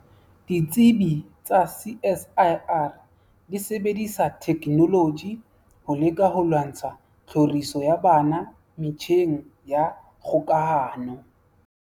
Ditsibi tsa CSIR di sebedisa thekenoloji ho leka ho lwantsha tlhoriso ya bana metjheng ya kgokahano.